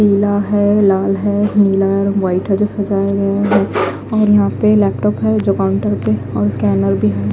पीला है लाल है नीला और व्हाइट है जो सजाया गया है और यहां पे लैपटॉप है जो काउंटर पे और स्कैनर भी है।